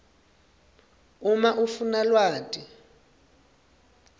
uma ufuna lwati